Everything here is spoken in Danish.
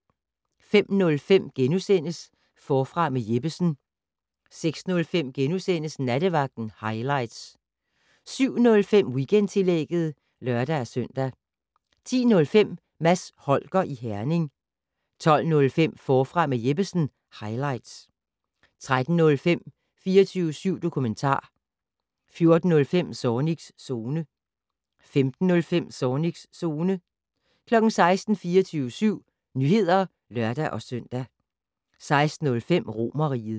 05:05: Forfra med Jeppesen * 06:05: Nattevagten highlights * 07:05: Weekendtillægget (lør-søn) 10:05: Mads Holger i Herning 12:05: Forfra med Jeppesen - highlights 13:05: 24syv dokumentar 14:05: Zornigs Zone 15:05: Zornigs Zone 16:00: 24syv Nyheder (lør-søn) 16:05: Romerriget